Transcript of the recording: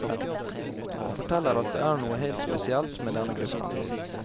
Han forteller at det er noe helt spesielt med denne gruppen.